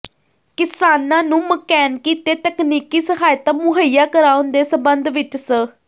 ਕਿਸਾਨਾਂ ਨੂੰ ਮਕੈਨਕੀ ਤੇ ਤਕਨੀਕੀ ਸਹਾਇਤਾ ਮੁਹੱਈਆ ਕਰਾਉਣ ਦੇ ਸਬੰਧ ਵਿੱਚ ਸ